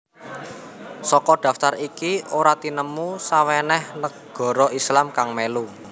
Saka daftar iki ora tinemu sawenèh nagara Islam kang mèlu